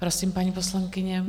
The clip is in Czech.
Prosím, paní poslankyně.